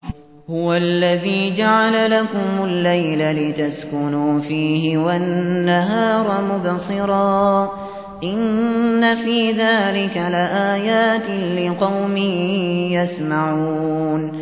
هُوَ الَّذِي جَعَلَ لَكُمُ اللَّيْلَ لِتَسْكُنُوا فِيهِ وَالنَّهَارَ مُبْصِرًا ۚ إِنَّ فِي ذَٰلِكَ لَآيَاتٍ لِّقَوْمٍ يَسْمَعُونَ